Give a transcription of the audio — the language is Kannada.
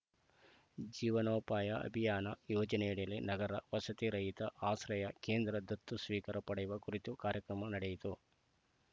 ಜೀವನೋಪಾಯ ಅಭಿಯಾನ ಯೋಜನೆಯಡಿಯಲ್ಲಿ ನಗರ ವಸತಿರಹಿತರ ಆಶ್ರಯ ಕೇಂದ್ರ ದತ್ತು ಸ್ವೀಕಾರ ಪಡೆಯುವ ಕುರಿತು ಕಾರ್ಯಕ್ರಮ ನಡೆಯಿತು